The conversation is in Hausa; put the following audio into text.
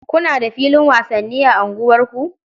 Kuna da filin wasanni a unguwarku?